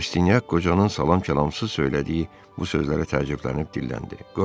Rastinyak qocanın salam-kəlamsız söylədiyi bu sözlərə təəccüblənib dilləndi: